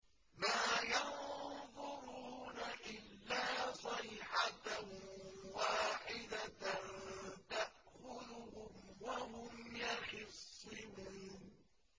مَا يَنظُرُونَ إِلَّا صَيْحَةً وَاحِدَةً تَأْخُذُهُمْ وَهُمْ يَخِصِّمُونَ